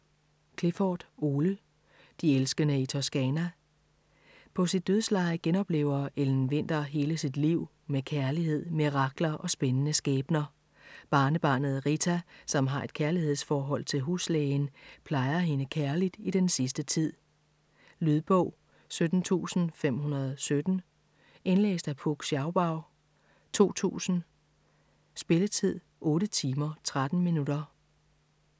Clifford, Ole: De elskende i Toscana På sit dødsleje genoplever Ellen Winther hele sit liv, med kærlighed, mirakler og spændende skæbner. Barnebarnet Rita, som har et kærlighedsforhold til huslægen, plejer hende kærligt i den sidste tid. Lydbog 17517 Indlæst af Puk Scharbau, 2000. Spilletid: 8 timer, 13 minutter.